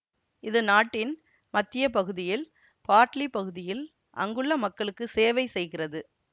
இது நாட்டின் மத்திய பகுதியில் பார்ட்லி பகுதியில் அங்குள்ள மக்களுக்கு சேவைசெய்கிறது